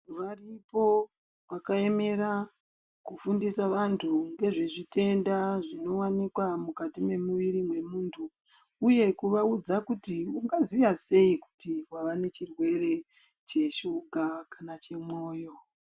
Variko vakaemera kufundisa vantu ngezvezvitenda zvinowanikwa mukati memuviri memuntu uye kuvaudza kuti ungaziya sei kuti wava nechirwere cheshuga kana chemwoyo.